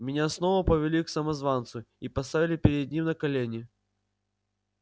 меня снова повели к самозванцу и поставили перед ним на колени